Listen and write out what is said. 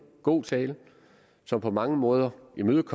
god tale som på mange måder imødekom